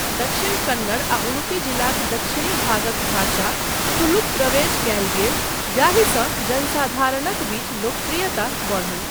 दक्षिण कन्नड़ आ उडुपी जिलाक दक्षिणी भागक भाषा, तुलुक प्रवेश कयल गेल, जाहिसँ जनसाधारणक बीच लोकप्रियता बढ़ल।